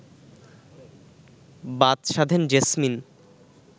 বাদ সাধেন জেসমিন